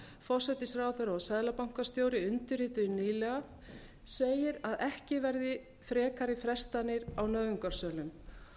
forsætisráðherra og seðlabankastjóri undirrituðu nýlega segir að ekki verði frekari frestanir á nauðungarsölum